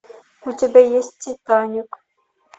у тебя есть титаник